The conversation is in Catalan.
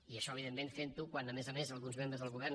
i això evidentment fent ho quan a més a més alguns membres del govern